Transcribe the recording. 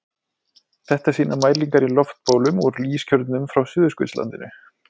Þetta sýna mælingar í loftbólum úr ískjörnum frá Suðurskautslandinu.